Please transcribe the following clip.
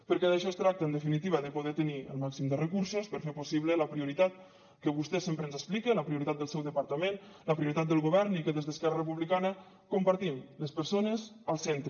perquè d’això es tracta en definitiva de poder tenir el màxim de recursos per fer possible la prioritat que vostè sempre ens explica la prioritat del seu departament la prioritat del govern i que des d’esquerra republicana compartim les persones al centre